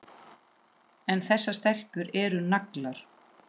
En þessar stelpur eru naglar.